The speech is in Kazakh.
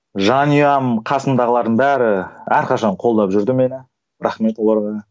жанұям қасымдағылардың бәрі әрқашан қолдап жүрді мені рахмет оларға